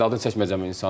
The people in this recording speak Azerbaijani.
Adını çəkməyəcəm insanın.